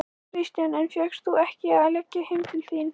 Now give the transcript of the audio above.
Kristján: En fékkst þú ekki að leggja heim til þín?